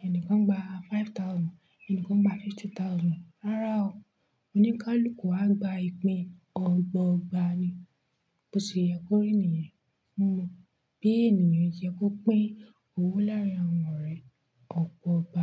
ẹni kan gba five thousand, ẹni kan gba fifty thousand, rárá o, oníkálukú á gba ìpín ọgba ọgba ni. Bó ṣe yẹ kó rí ènìayàn, bí ènìyàn ṣe yẹ kó pín owó láàrín àwọn ọ̀rẹ́ ọgba ọgba.